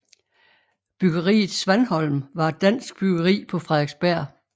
Bryggeriet Svanholm var et dansk bryggeri på Frederiksberg